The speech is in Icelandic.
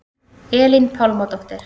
Elín Pálmadóttir